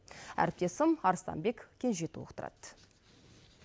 әріптесім арыстанбек кенже толықтырады